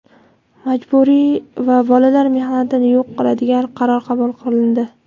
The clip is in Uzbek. majburiy va bolalar mehnatini yo‘q qiladigan qaror qabul qilindi.